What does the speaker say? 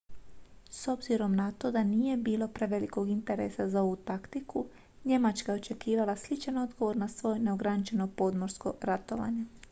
s obzirom na to da nije bilo prevelikog interesa za ovu taktiku njemačka je očekivala sličan odgovor na svoje neograničeno podmorsko ratovanje